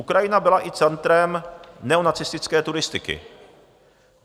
Ukrajina byla i centrem neonacistické turistiky.